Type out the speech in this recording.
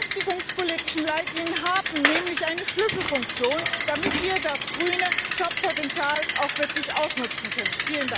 Die beschäftigungspolitischen Leitlinien haben nämlich eine Schlüsselfunktion, damit wir das grüne Jobpotenzial auch wirklich ausnutzen können.